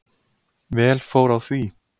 Vel fór á því.